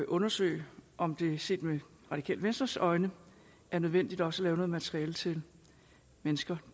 undersøge om det set med radikale venstres øjne er nødvendigt også at lave noget materiale til mennesker